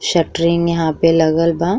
Shuttering यहाँँ पे लगल बा।